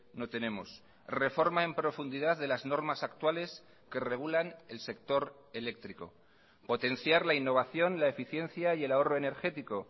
no tenemos reforma en profundidad de las normas actuales que regulan el sector eléctrico potenciar la innovación la eficiencia y el ahorro energético